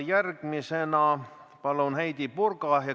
Järgmisena palun Heidy Purga.